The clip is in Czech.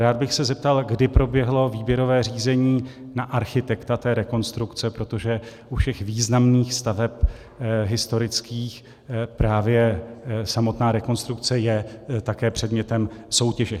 Rád bych se zeptal, kdy proběhlo výběrové řízení na architekta té rekonstrukce, protože u všech významných staveb historických právě samotná rekonstrukce je také předmětem soutěže.